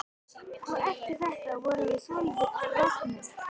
Og eftir þetta vorum við svolítið roggnir.